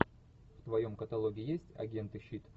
в твоем каталоге есть агенты щит